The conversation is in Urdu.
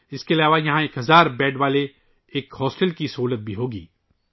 اس کے علاوہ ، ایک ہزار بستروں پر مشتمل ہاسٹل کی سہولت بھی ہوگی